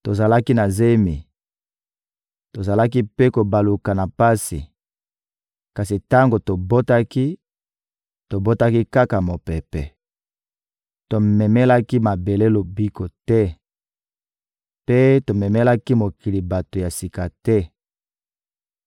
Tozalaki na zemi, tozalaki mpe kobaluka na pasi; kasi tango tobotaki, tobotaki kaka mopepe: tomemelaki mabele lobiko te, mpe tomemelaki mokili bato ya sika te.